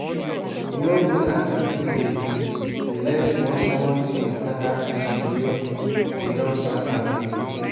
e no good as pipu dey dey let small small tin scatter friendship wey dey don suffer build.